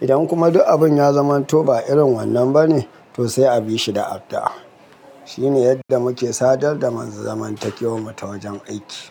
Idan kuma duk abun ya zamanto ba irin wannan bane, to sai a bi shi da addu'a. Shine yadda muke sadar da zamantakewar mu ta wajen aiki.